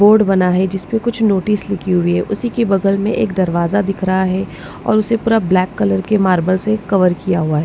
Board बना है जिस पर कुछ नोटिस लिखी हुई है उसी के बगल में एक दरवाजा दिख रहा है और उसे पूरा ब्लैक कलर के मार्बल से कवर किया हुआ है।